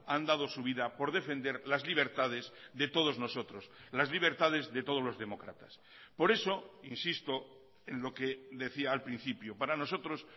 han dado su vida por defender las libertades de todos nosotros las libertades de todos los demócratas por eso insisto en lo que decía al principio para nosotros